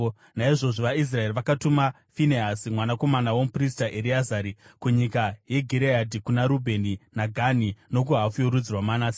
Naizvozvo vaIsraeri vakatuma Finehasi mwanakomana womuprista Ereazari, kunyika yeGireadhi, kuna Rubheni, naGadhi nokuhafu yorudzi rwaManase.